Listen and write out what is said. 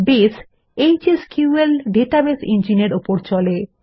base HSQL database ইঞ্জিনের উপর চলে